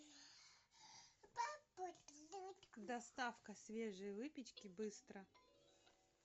доставка свежей выпечки быстро